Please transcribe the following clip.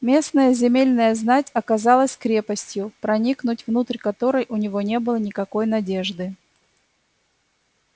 местная земельная знать оказалась крепостью проникнуть внутрь которой у него не было никакой надежды